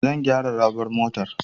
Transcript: Zan gyara raɓar motata.